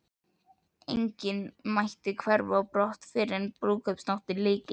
Enginn mætti hverfa á brott fyrren brúðkaupsnóttinni lyki.